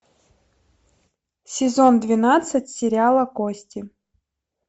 сезон двенадцать сериала кости